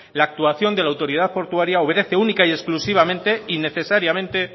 la actuación de la autoridad portuaria obedece única y exclusivamente y necesariamente